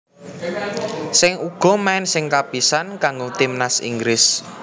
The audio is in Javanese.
Sing uga main sing kapisan kanggo timnas Inggris